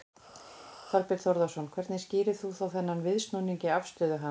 Þorbjörn Þórðarson: Hvernig skýrir þú þá þennan viðsnúning í afstöðu hans?